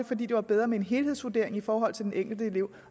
fordi det var bedre med en helhedsvurdering i forhold til den enkelte elev